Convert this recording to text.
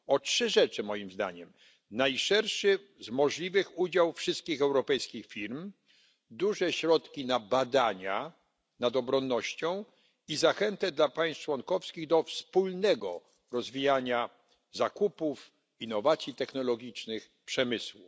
O trzy rzeczy, moim zdaniem najszerszy z możliwych udział wszystkich europejskich firm, duże środki na badania nad obronnością i zachętę dla państw członkowskich do wspólnego rozwijania zakupów, innowacji technologicznych, przemysłu.